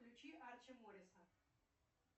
включи арче морриса